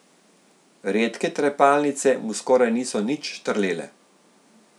Redke trepalnice mu skoraj niso nič štrlele.